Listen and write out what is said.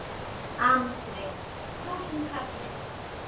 Andri: Þúsund kalli?